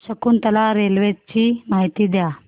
Shakuntala railway ची माहिती द्या